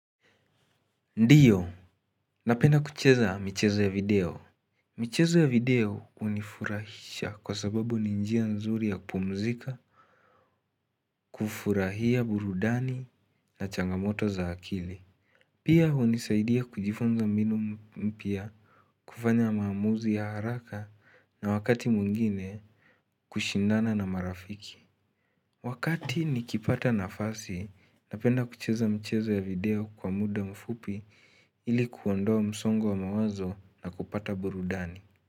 Ndiyo. Napenda kucheza michezo ya video. Michezo ya video hunifurahisha kwa sababu ni njia nzuri ya kupumzika. Kufurahia burudani na changamoto za akili. Pia hunisaidia kujifunza mbinu mpya kufanya maamuzi ya haraka na wakati mwingine kushindana na marafiki wakati nikipata nafasi. Napenda kucheza michezo ya video kwa muda mfupi ili kuondoa msongo wa mawazo na kupata burudani.